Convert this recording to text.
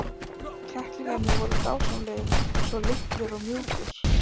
Kettlingarnir voru dásamlegir, svo litlir og mjúkir.